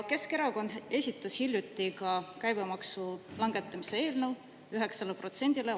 Keskerakond esitas hiljuti ka käibemaksu langetamise eelnõu 9%-le.